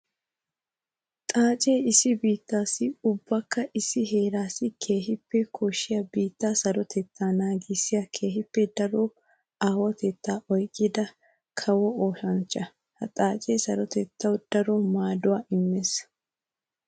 Xaace issi biittassi ubbakka issi heerassi keehippe koshiya biitta sarotetta naagissiya keehippe daro aawatetta oyqqidda kawo oosanchcha. Ha xaace sarotettawu daro maaduwa immees.